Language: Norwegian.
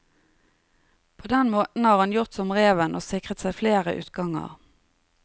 På den måten har han gjort som reven og sikret seg flere utganger.